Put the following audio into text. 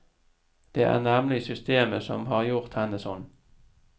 Det er nemlig systemet som har gjort henne sånn.